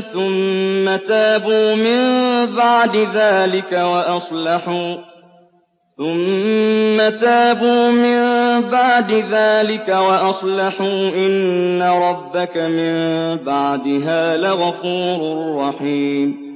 ثُمَّ تَابُوا مِن بَعْدِ ذَٰلِكَ وَأَصْلَحُوا إِنَّ رَبَّكَ مِن بَعْدِهَا لَغَفُورٌ رَّحِيمٌ